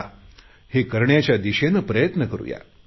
या हे करण्याच्या दिशेने प्रयत्न करुया